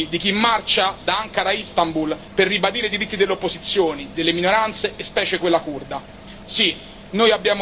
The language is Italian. È scritto anche negli occhi di chi marcia da Ankara a Istanbul per ribadire i diritti delle opposizioni e delle minoranze, specie quella curda.